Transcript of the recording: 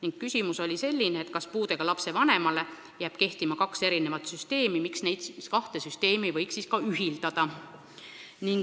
Tema küsimus oli, kas puudega lapse vanemale jääb kehtima kaks erinevat puhkusesüsteemi, miks neid kahte süsteemi ei võiks ühildada.